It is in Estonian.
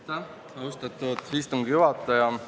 Austatud istungi juhataja!